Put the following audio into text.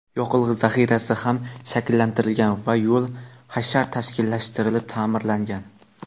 yoqilg‘i zaxirasi ham shakllantirilgan va yo‘l hashar tashkillashtirilib ta’mirlangan.